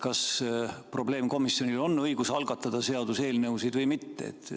Kas probleemkomisjonil on õigus algatada seaduseelnõusid või mitte?